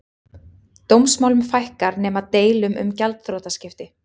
Dómsmálum fækkar nema deilum um gjaldþrotaskipti